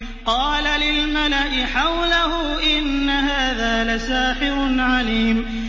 قَالَ لِلْمَلَإِ حَوْلَهُ إِنَّ هَٰذَا لَسَاحِرٌ عَلِيمٌ